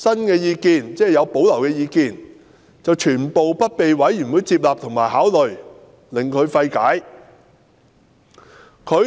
然而，他提出有保留的意見全部不獲委員會接納及考慮，令他費解。